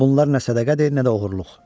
Bunlar nə sədəqədir, nə də oğurluq.